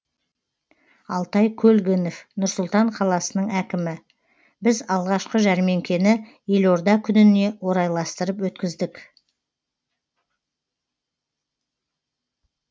алтай көлгінов нұр сұлтан қаласының әкімі біз алғашқы жәрмеңкені елорда күніне орайластырып өткіздік